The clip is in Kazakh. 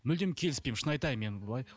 мүлдем келіспеймін шын айтайын мен былай